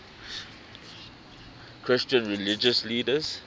christian religious leaders